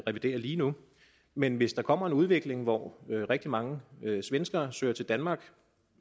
revidere lige nu men hvis der kommer en udvikling hvor rigtig mange svenskere søger til danmark